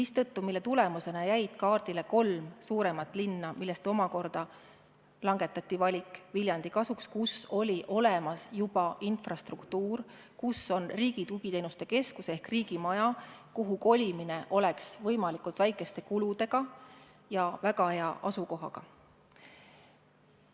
Selle tulemusena jäi kaardile kolm suuremat linna, millest omakorda langetati valik Viljandi kasuks, kus oli olemas juba infrastruktuur, kus on riigi tugiteenuste keskus ehk riigimaja, kuhu kolimine toimuks võimalikult väikeste kuludega ja kus on väga hea asukoht.